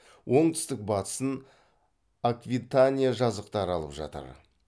оңтүстік батысын аквитания жазықтары алып жатыр